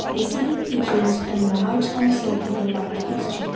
the ceiling features a large and circular light fixture.